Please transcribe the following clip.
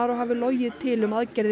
hafi logið til um aðgerðir